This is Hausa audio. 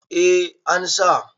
eh an sa